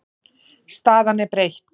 Staðan er breytt.